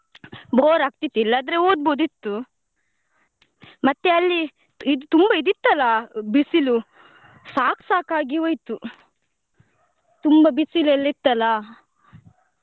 Bore ಆಗ್ತಿತ್ತು ಇಲ್ಲದ್ರೆ ಓದ್ಬಹುದಿತ್ತು ಮತ್ತೆ ಅಲ್ಲಿ ಇದ್ ತುಂಬಾ ಇದಿತ್ತಲ್ಲ ಬಿಸಿಲು ಸಾಕ್ ಸಾಕಾಗಿ ಹೋಯ್ತು ತುಂಬಾ ಬಿಸಿಲೆಲ್ಲಾ ಇತ್ತಲ್ಲ.